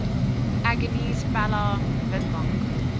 aggeneys pella witbank